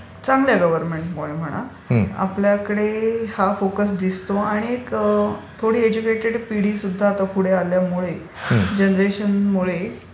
चांगल्या गव्हर्नमेंटमुळे म्हणा आपल्याकडे हा फोकस दिसतो आणि थोडी एडुकेटेड पिढी सुद्धा आता पुढे आल्यामुळे जनरेशनमुळे